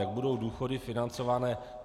Jak budou důchody financované?